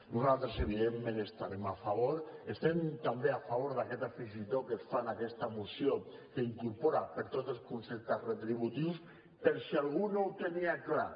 nosaltres evidentment hi estarem a favor estem també a favor d’aquest afegitó que es fa en aquesta moció que incorpora per a tots els conceptes retributius per si algú no ho tenia clar